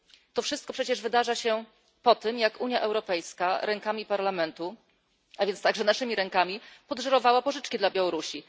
To wszystko przecież wydarza się po tym, jak Unia Europejska rękami Parlamentu, a więc także naszymi rękami podżyrowała pożyczki dla Białorusi.